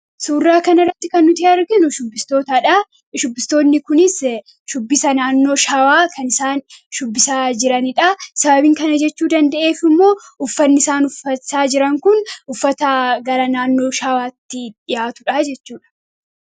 Suuraa kana irratti kan nuti arginu shubbistoota dhaa. Shubbbistoonni kunis shubbisa naannoo Shawaa kan isaan shubbisaa jirani dhaa. Sababiin kana jechuu danda'eef immoo, uffanni isaan uffachaa jiran kun uffata gara naannoo Shawaatti dhiyaatuu dhaa jechuu dha.